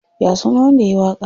Ya sunan wanda yayi waƙar?